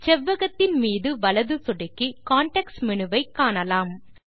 செவ்வகத்தின் மீது வலது சொடுக்கி கான்டெக்ஸ்ட் மேனு வை காணலாம்